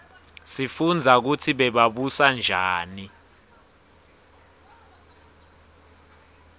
sifunbza kutsi bebabusa njani